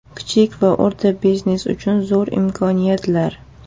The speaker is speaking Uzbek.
Kichik va o‘rta biznes uchun zo‘r imkoniyatlar .